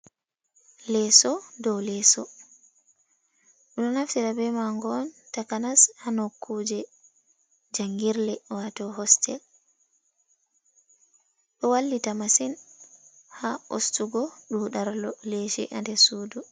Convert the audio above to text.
Leeso ɗow leso ɗo naftira be mango on takanas hanok kuje jangirle wato hostel, bo wallita masin ha ustugo dudarlo lesi ade sudu.